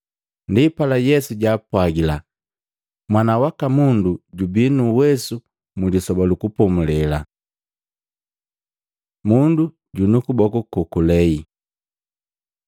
Ndipala Yesu jaapwagila, “Mwana waka Mundu jubi nuwesu Mlisoba lu Kupomulela.” Mundu junu kuboku kokulei Matei 12:9-14; Maluko 3:1-6